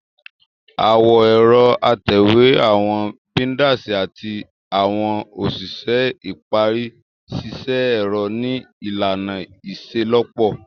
Awọn ẹrọ atẹwe, awọn binders, ati awọn oṣiṣẹ ipari ṣiṣẹ ẹrọ ni ilana iṣelọpọ.